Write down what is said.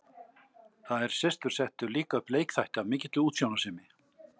Þær systur settu líka upp leikþætti af mikilli útsjónarsemi.